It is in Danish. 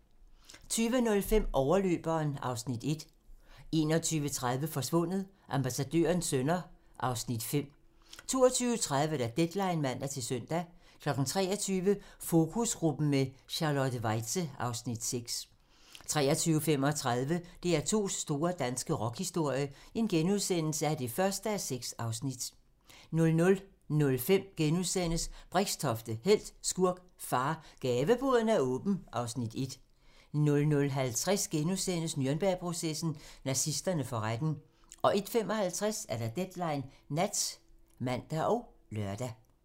20:05: Overløberen (Afs. 1) 21:30: Forsvundet: Ambassadørens sønner (Afs. 5) 22:30: Deadline (man-søn) 23:00: Fokusgruppen med Charlotte Weitze (Afs. 6) 23:35: DR2's store danske rockhistorie (1:6)* 00:05: Brixtofte - helt, skurk, far - Gaveboden er åben (Afs. 1)* 00:50: Nürnbergprocessen: Nazisterne for retten * 01:55: Deadline nat (man og lør)